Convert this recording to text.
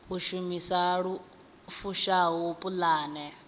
u shumisa lu fushaho pulane